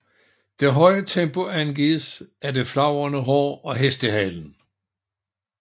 Det høje tempo angives af det flagrende hår og hestehalen